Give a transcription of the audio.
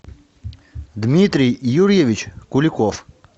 дмитрий юрьевич куликов